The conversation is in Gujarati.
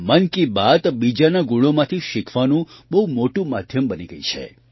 મન કી બાત બીજાના ગુણોમાંથી શીખવાનું બહુ મોટું માધ્યમ બની ગઈ છે